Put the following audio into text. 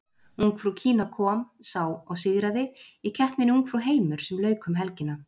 Ungfrú Kína kom, sá og sigraði í keppninni Ungfrú heimur sem lauk um helgina.